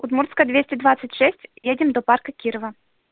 удмуртская двести двадцать шесть едем до парка кирова